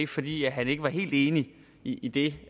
fordi han ikke var helt enig i det